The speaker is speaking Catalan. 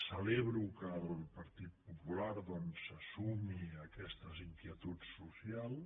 celebro que el partit popular doncs se sumi a aquestes inquietuds socials